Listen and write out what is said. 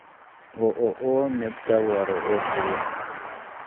ооо медтовары отзывы